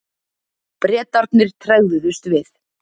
Bretarnir tregðuðust við.